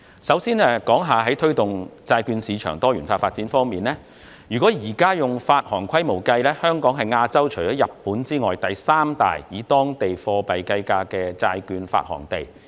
首先，關於推動債券市場的多元化發展，若按目前的發行規模計算，香港是亞洲第三大以當地貨幣計價的債券發行地。